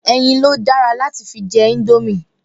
Ẹyin lo dára láti fi jẹ indomie